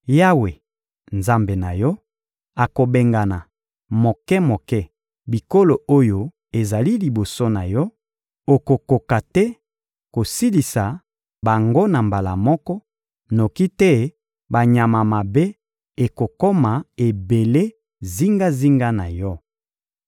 Yawe, Nzambe na yo, akobengana moke-moke bikolo oyo ezali liboso na yo; okokoka te kosilisa bango na mbala moko, noki te banyama mabe ekokoma ebele zingazinga na yo.